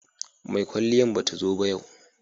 mai kwalliyan ba ta zo ba yau